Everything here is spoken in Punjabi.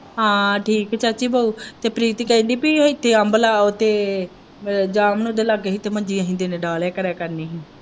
ਹਾ ਠੀਕ ਹੈ ਚਾਚੀ ਤੇ ਪ੍ਰੀਤੀ ਕਹਿੰਦੀ ਪੀ ਇੱਥੇ ਅੰਬ ਜਾਮਨ ਦੇ ਲਾਗੇ ਹੀ ਤੇ ਮੰਜੀ ਅਸੀਂ ਦੋਨੇ ਡਾਹ ਲਿਆ ਕਰਨੀ ਹੀ।